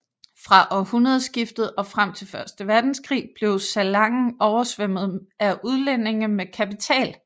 Fra århundredskiftet og frem til første verdenskrig blev Salangen oversvømmet af udlændinge med kapital